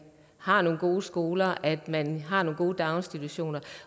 har nogle gode skoler at man har nogle gode daginstitutioner